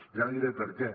i ara diré per què